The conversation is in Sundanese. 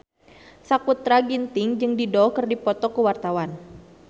Sakutra Ginting jeung Dido keur dipoto ku wartawan